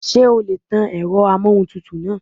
Ṣé o lè tan èrọ amóhuntutù náà?